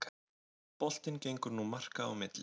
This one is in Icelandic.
Boltinn gengur nú marka á milli